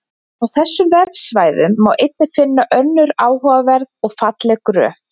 Á þessum vefsvæðum má einnig finna önnur áhugaverð og falleg gröf.